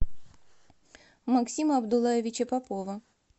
максима абдуллаевича попова